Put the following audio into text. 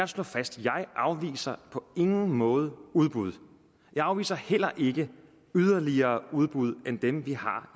slå fast jeg afviser på ingen måde udbud jeg afviser heller ikke yderligere udbud end dem vi har